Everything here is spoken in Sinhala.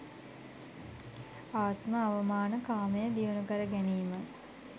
ආත්ම අවමාන කාමය දියුණුකර ගැනීමයි.